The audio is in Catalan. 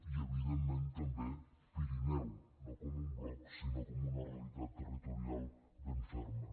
i evidentment també pirineu no com un bloc sinó com una realitat territorial ben ferma